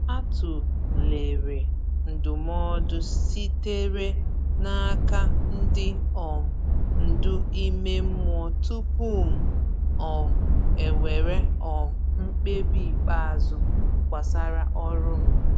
A tụlere ndụmọdụ sitere n’aka ndị um ndu ime mmụọ tupu m um ewere um mkpebi ikpeazụ gbasara ọrụ m.